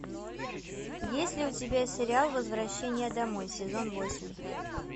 есть ли у тебя сериал возвращение домой сезон восемь